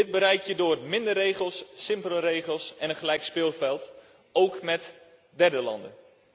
Dit bereik je door minder regels, simpele regels en een gelijk speelveld, ook met derde landen.